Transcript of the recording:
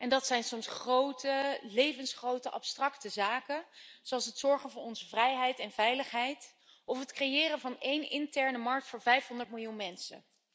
Dat zijn soms grote, levensgrote abstracte zaken, zoals het zorgen voor onze vrijheid en veiligheid, of het creëren van één interne markt voor 500 miljoen mensen.